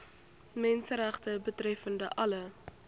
menseregte betreffende alle